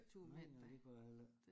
Nej nej det kunne a heller æ